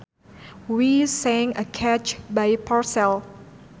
We sang a catch by Purcell